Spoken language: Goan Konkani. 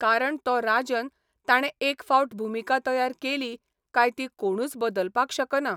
कारण तो राजन ताणे एक फावट भुमिका तयार केली काय ती कोणूच बदलपाक शकना.